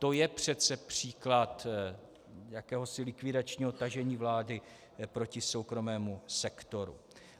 To je přece příklad jakéhosi likvidačního tažení vlády proti soukromému sektoru.